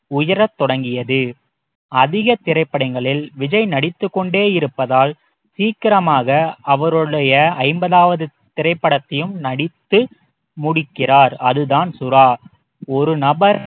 உயரத் தொடங்கியது அதிகத் திரைப்படங்களில் விஜய் நடித்துக் கொண்டே இருப்பதால் சீக்கிரமாக அவருடைய ஐம்பதாவது திரைப்படத்தையும் நடித்து முடிக்கிறார் அதுதான் சுறா ஒரு நபர்